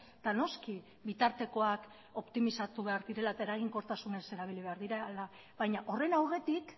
eta noski bitartekoak optimizatu behar direla eta eraginkortasunez erabili behar direla baina horren aurretik